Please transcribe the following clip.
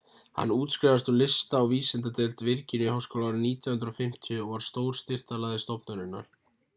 hann útskrifaðist úr lista og vísindadeild virginíuháskóla árið 1950 og var stór styrktaraðili stofnunarinnar